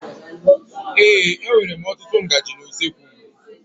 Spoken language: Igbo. Ee, e nwèrè m ọtụtụ ngaji na usoekwu m.